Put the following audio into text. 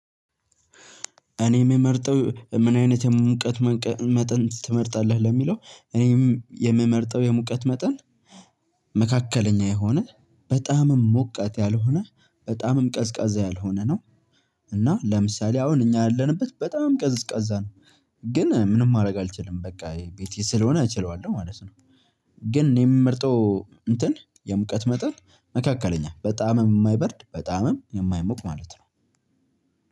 እኔ የምመርጠው ምን አይነት የሙቀት መቀ መጠን ትመርጣለህ ለሚለው እኔም የምመርጠው የሙቀት መጠን መካከለኛ የሆነ በጣምም ሙቀት ያልሆነ በጣምም ቀዝቃዛ ያልሆነ ነው። እና ለምሳሌ አሁን እኛ ያለንበት በጣም ቀዝቃዛ ነው። ግን ምንም ማድረግ አልችልም በቃ ቤቴ ስለሆነ እችለዋለሁ ማለት ነው። ግን የምመርጠው እንትን የሙቀት መጠን መካከለኛ በጣም የማይበርድ በጣም የማይሞቅ ማለት ነው።